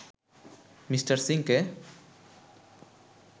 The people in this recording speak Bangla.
মিঃ সিংকে